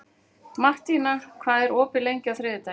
Mattína, hvað er opið lengi á þriðjudaginn?